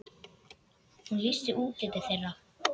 Hún lýsti útliti þeirra.